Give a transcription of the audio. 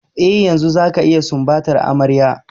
Eh, yanzu zaka iya sumbatar amarya.